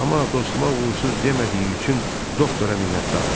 Amma dostuma uğursuz demədiyi üçün doktora minnətdaram.